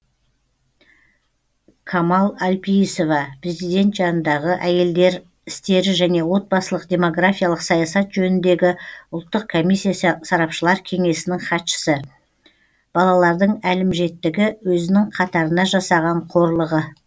камал әлпейісова президент жанындағы әйелдер істері және отбасылық демографиялық саясат жөніндегі ұлттық комиссиясы сарапшылар кеңесінің хатшысы балалардың әлімжеттігі өзінің қатарына жасаған қорлығы